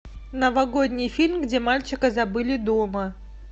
новогодний фильм где мальчика забыли дома